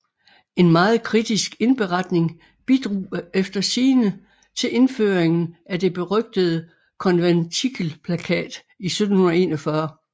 En meget kritisk indberetning bidrog efter sigende til indføringen af det berygtede Konventikelplakat i 1741